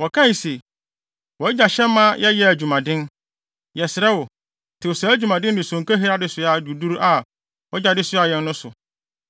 Wɔkae se, “Wʼagya hyɛɛ yɛn ma yɛyɛɛ adwumaden. Yɛsrɛ wo, tew saa adwumaden ne sonkahiri adesoa duruduru a wʼagya de soaa yɛn no so.